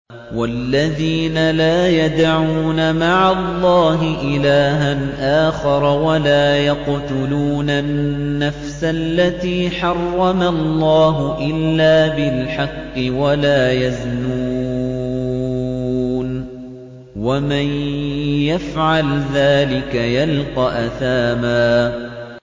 وَالَّذِينَ لَا يَدْعُونَ مَعَ اللَّهِ إِلَٰهًا آخَرَ وَلَا يَقْتُلُونَ النَّفْسَ الَّتِي حَرَّمَ اللَّهُ إِلَّا بِالْحَقِّ وَلَا يَزْنُونَ ۚ وَمَن يَفْعَلْ ذَٰلِكَ يَلْقَ أَثَامًا